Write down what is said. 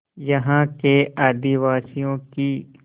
यहाँ के आदिवासियों की